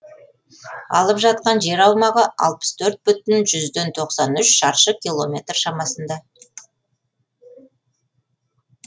алып жатқан жер аумағы алпыс төрт бүтін жүзден тоқсан үш шаршы километр шамасында